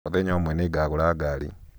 mũthenya ũmwe nĩngagũra ngari